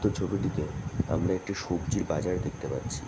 উক্ত ছবিটিতে আমরা একটি সবজি বাজার দেখতে পাচ্ছি।